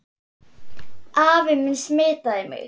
Afi minn smitaði mig.